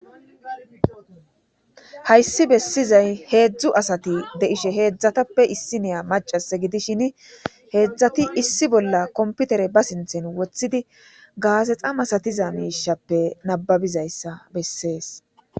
Hayssi bessizay heedzdzu asati deishe heedzdzatappe issiniya macas gidishin heedzdzati issi bolla komputere ba sinthen wothidi gaasexa masatiza miishappe nababizayssa bessees.